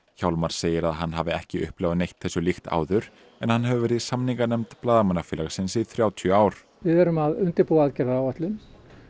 hjálmar segir að hann hafi ekki upplifað neitt þessu líkt áður en hann hefur verið í samninganefnd Blaðamannafélagsins í þrjátíu ár við erum að undirbúa aðgerðaráætlun